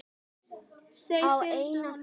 Þeir fylgdu honum eftir.